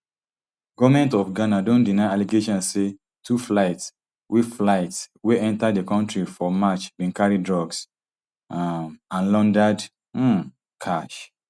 goment of ghana don deny allegation say two flights wey flights wey enta di kontri for march bin carry drugs um and laundered um cash